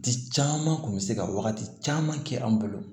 Di caman kun bɛ se ka wagati caman kɛ an bolo